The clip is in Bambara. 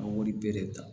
An b'olu bɛɛ de ta